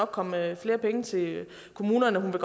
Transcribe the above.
komme flere penge til kommunerne hun vil